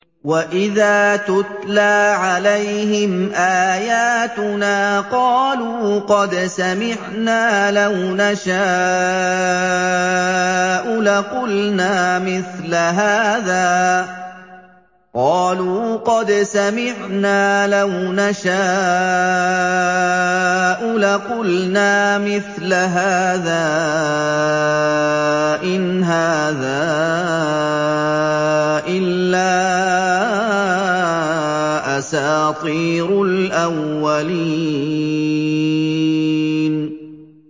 وَإِذَا تُتْلَىٰ عَلَيْهِمْ آيَاتُنَا قَالُوا قَدْ سَمِعْنَا لَوْ نَشَاءُ لَقُلْنَا مِثْلَ هَٰذَا ۙ إِنْ هَٰذَا إِلَّا أَسَاطِيرُ الْأَوَّلِينَ